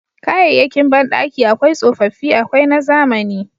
Kayayyakin bandaki akwai tsofaffi akwai na zamani.